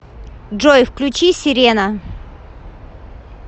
джой включи серена